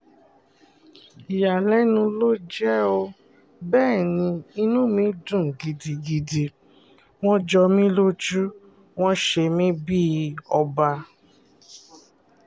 ìyàlẹ́nu ló jẹ́ ó bẹ́ẹ̀ ni inú mi dùn gidigidi wọ́n jọ mí lójú wọn ṣe mí bíi ọba